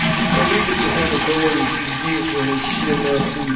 сука выебать охота кого нибудь вообще на хуй